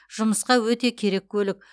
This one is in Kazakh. жұмысқа өте керек көлік